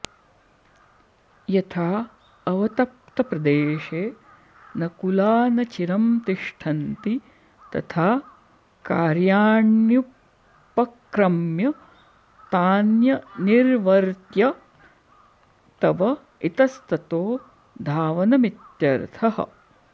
यथा अवतप्तप्रदेशे नकुला न चिरं तिष्ठन्ति तथा कार्याण्युपक्रम्य तान्यनिर्वर्त्त्य तव इतस्ततो धावनमित्यर्थः